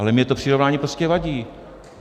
Ale mně to přirovnání prostě vadí.